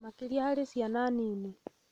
makĩria harĩ ciana nini.